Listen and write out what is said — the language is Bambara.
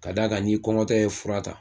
Ka daa kan n'i kɔngɔtɔ ye furata